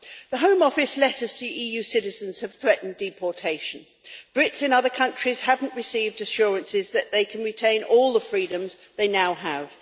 The Home Office letters to EU citizens have threatened deportation. Brits in other countries have not received assurances that they can retain all the freedoms they now have.